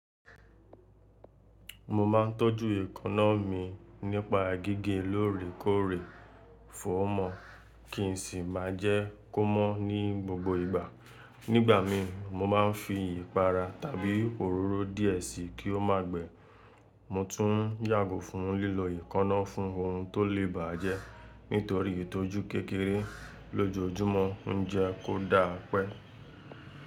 Mo ma ńtọ́jú èkanna mi nípa gige lóòrèkóòrè fóọ́mọ kí n sì má jẹ́ kó mọ́ ní gbogbo ìgbà. Nígbà mìí, mo máa ń fi ìpara tàbí òróró díẹ̀ sí i kí ó má gbẹ. Mo tún yàgò fún lílọ ekanna fún ohun tó lè bà á jẹ́. Nítorí ìtọ́jú kékeré lójoojúmọ́ ń jẹ́ kó dáa pẹ́.